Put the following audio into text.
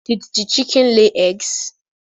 Did the chicken lay eggs?